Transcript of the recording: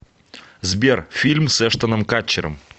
сбер фильм с эштоном катчером